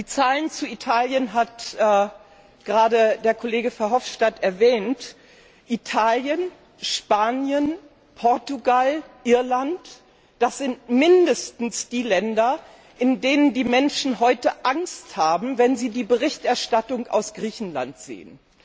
Die Zahlen zu Italien hat gerade der Kollege Verhofstadt erwähnt. Italien, Spanien, Portugal, Irland Das sind mindestens die Länder, in denen die Menschen heute Angst haben, wenn sie die Berichterstattung aus Griechenland sehen.